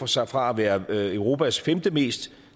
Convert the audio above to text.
sig fra at være i europas femtemest